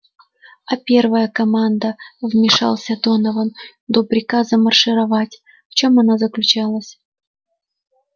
а первая команда вмешался донован до приказа маршировать в чём она заключалась